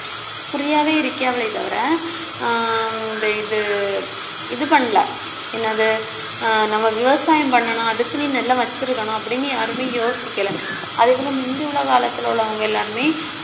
குறியாவே இருக்காங்களே தவிர, ஆஹ் இந்த இது~ இது பண்ணல. என்னது ஆஹ் நம்ம விவசாயம் பண்ணணும் அதுக்குன்னு நிலம் வச்சிருக்கணும் அப்படின்னு யாருமே யோசிக்கல அதே போல முந்தி உள்ள காலத்தில உள்ளவங்க எல்லாருமே